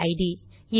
PID